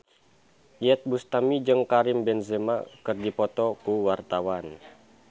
Iyeth Bustami jeung Karim Benzema keur dipoto ku wartawan